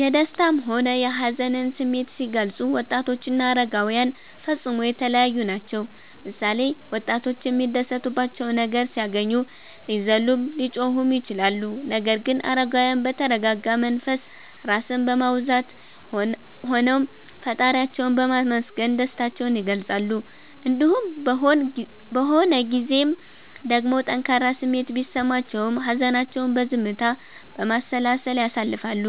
የደሰታም ሆነ የሀዘንን ስሜት ሲገልፁ ወጣቶችና አረጋዉያን ፈፅሞ የተለያዪ ናቸዉ ምሳሌ፦ ወጣቶች የሚያስደስታቸው ነገር ሲያገኙ ሊዘሉም ሊጮሁም ይችላሉ ነገር ግን አረጋዉያን በተረጋጋ መንፈስ (ራስን በማዉዛት) ሆነዉ ፈጣሪያቸዉን በማመስገን ደስታቸዉን ይገልፃሉ። እንዲሁም በሆን ጊዜም ደግሞ ጠንካራ ስሜት ቢሰማቸውም ሀዘናቸዉን በዝምታ፣ በማሰላሰል ያሳልፋሉ